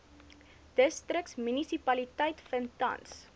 distriksmunisipaliteite vind tans